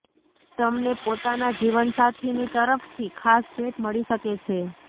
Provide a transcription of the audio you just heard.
તમને પોતાના જીવનસાથી ની તરફથી ખાસ ભેટ મળી શકે છે